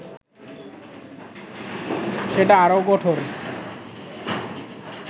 সেটা আরও কঠোর